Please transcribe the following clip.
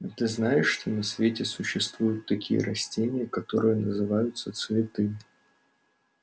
а ты знаешь что на свете существуют такие растения которые называются цветы